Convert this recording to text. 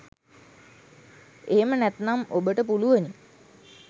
එහෙම නැත්නම් ඔබට පුළුවනි